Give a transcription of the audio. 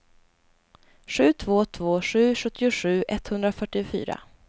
sju två två sju sjuttiosju etthundrafyrtiofyra